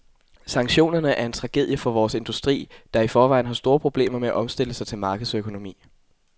Sanktionerne er en tragedie for vores industri, der i forvejen har store problemer med at omstille sig til markedsøkonomi.